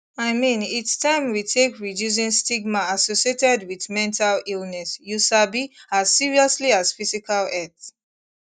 i mean its taim we take reducing stigma associated wit mental illness you sabi as seriously as physical health